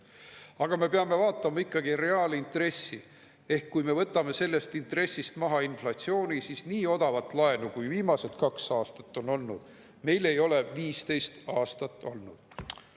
Aga me peame vaatama ikkagi reaalintressi ehk kui me võtame sellest intressist maha inflatsiooni, siis nii odavat laenu, kui viimased kaks aastat on olnud, meil ei ole 15 aastat olnud.